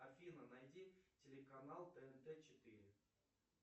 афина найди телеканал тнт четыре